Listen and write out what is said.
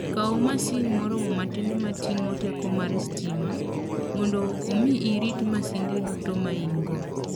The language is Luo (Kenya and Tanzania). Kaw masin moro matin ma ting'o teko mar stima, mondo omi irit masinde duto ma in-go.